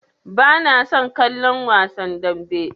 Bana son kallon wasan dambe.